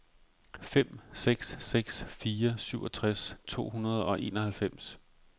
fem seks seks fire syvogtres to hundrede og enoghalvfems